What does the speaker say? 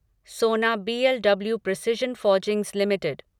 सोना BLW precision forgings limited